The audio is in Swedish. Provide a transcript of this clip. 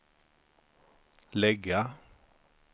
lägga